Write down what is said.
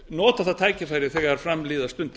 nota það tækifæri þegar fram líða stundir